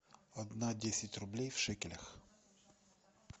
одна десять рублей в шекелях